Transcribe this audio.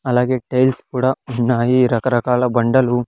అలాగే టైల్స్ కూడా ఉన్నాయి రకరకాల బండలు.